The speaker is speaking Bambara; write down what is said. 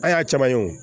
An y'a caman ye o